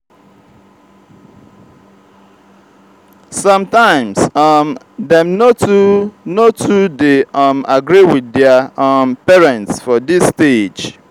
sometimes um dem no too no too de um agree with their um parents for dis stage